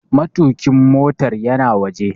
Matuƙin motar yana waje.